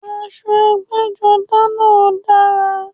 Aṣọ ẹgbẹ́-jọdá náà dára.